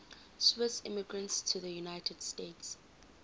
swiss immigrants to the united states